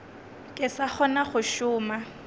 ke sa kgona go šoma